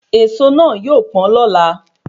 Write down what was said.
Èso na yóò pọn lọ́la